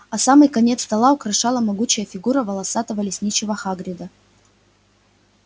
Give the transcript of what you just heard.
а самый конец стола украшала могучая фигура волосатого лесничего хагрида